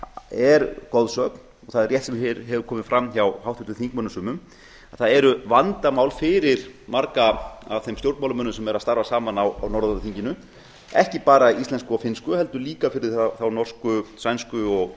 er goðsögn það er rétt sem hér hefur komið fram hjá háttvirtum þingmönnum sumum að það eru vandamál fyrir marga af þeim stjórnmálamönnum sem eru a starfa saman á norræna þinginu ekki bara íslensku og finnsku heldur líka fyrir þá norsku sænsku og